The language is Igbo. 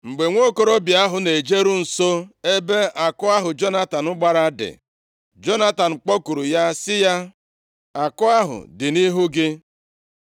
Mgbe nwokorobịa ahụ na-ejeru nso ebe àkụ ahụ Jonatan gbara dị, Jonatan kpọkuru ya sị ya, “Àkụ ahụ dị nʼihu gị.”